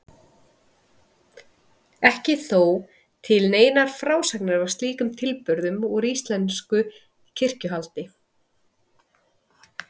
Ekki eru þó til neinar frásagnir af slíkum tilburðum úr íslensku kirkjuhaldi.